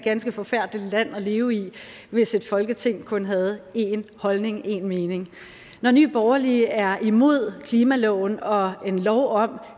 ganske forfærdeligt land at leve i hvis et folketing kun havde én holdning én mening når nye borgerlige er imod klimaloven og en lov om